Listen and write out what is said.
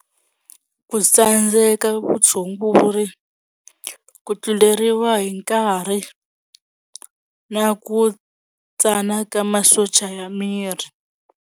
Ku tsandzeka vutshunguri ku tluleriwa hi nkarhi na ku tsana ka masocha ya miri.